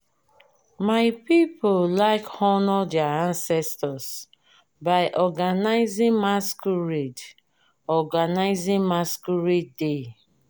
my people like honour their ancestors by organizing masquerade organizing masquerade day.